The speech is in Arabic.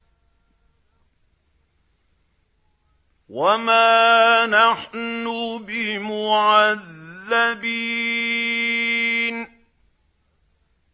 وَمَا نَحْنُ بِمُعَذَّبِينَ